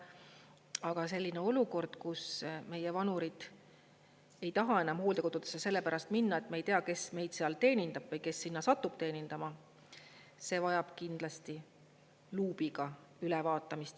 Aga selline olukord, kus meie vanurid ei taha enam hooldekodudesse selle pärast minna, et me ei tea, kes meid seal teenindab või kes sinna satub teenindama, see vajab kindlasti luubiga ülevaatamist.